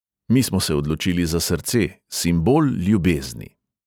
Mi smo se odločili za srce – simbol ljubezni.